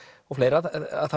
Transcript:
og fleira það